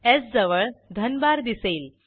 स् जवळ धनभार दिसेल